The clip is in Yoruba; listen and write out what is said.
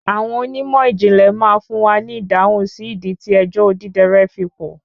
Àwọn onímọ̀ ìjìnlè má fún wa ni ìdáhùn sí ìdí tí ẹjọ́ Odidẹrẹ́ fi pọ̀.